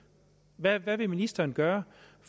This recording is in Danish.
hvad vil ministeren gøre